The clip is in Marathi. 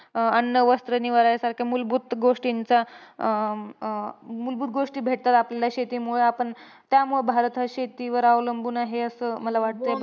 अं अन्न, वस्त्र, निवारा यासारख्या मुलभूत गोष्टींचा, अं मुलभूत गोष्टी भेटतात आपल्याला शेतीमुळे. आपण, त्यामुळे भारत हा शेतीवर अवलंबून आहे. असं मला वाटतं.